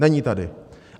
Není tady.